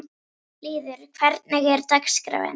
Lýður, hvernig er dagskráin?